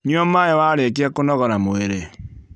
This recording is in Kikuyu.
Nyua maĩi warĩkia kũnogora mwĩrĩ